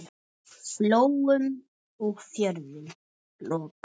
Flóum og fjörðum lokað.